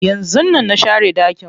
Yanzun nan na share ɗakin.